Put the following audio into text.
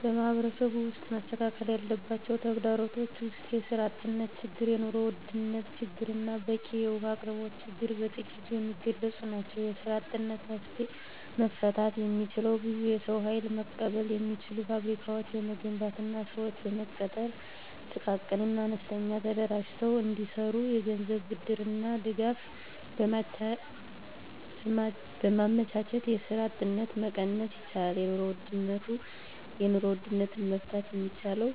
በማህበረሰቡ ውስጥ መስተካከል ያለባቸው ተግዳሮቶች ውስጥ የስራ አጥነት ችግር የኑሮ ውድነት ችግርና በቂ የውሀ አቅርቦት ችግር በጥቂቱ የሚገለፁ ናቸው። የስራ አጥነትን መፍታት የሚቻለው ብዙ የሰው ሀይል መቀበል የሚችሉ ፋብሪካዎችን በመገንባትና ስዎችን በመቅጠር ጥቃቅንና አነስተኛ ተደራጅተው እንዲሰሩ የገንዘብ ብድርና ድጋፍ በማመቻቸት የስራ አጥነትን መቀነስ ይቻላል። የኑሮ ውድነትን መፍታት የሚቻለው